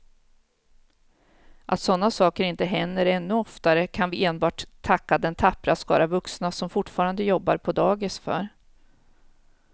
Att sådana saker inte händer ännu oftare kan vi enbart tacka den tappra skara vuxna som fortfarande jobbar på dagis för.